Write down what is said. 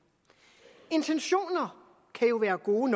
intentioner kan jo være gode